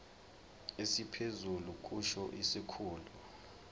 esiphezulu kusho isikhulu